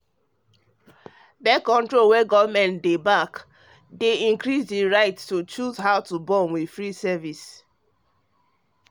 birth-control wey government dey back dey increase the right to choose how to born with free service